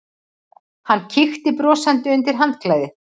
Hann kíkti brosandi undir handklæðið.